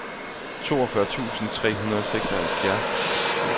toogfyrre tusind tre hundrede og seksoghalvfjerds